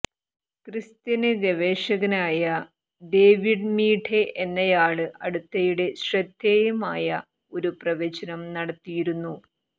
Christian ഗവേഷകനായ David Meade എന്നയാള് അടുത്തിടെ ശ്രദ്ധേയമായ ഒരു പ്രവചനം നടത്തിയിരുന്നു